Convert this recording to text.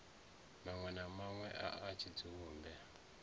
manwe na manwe a tshidzumbe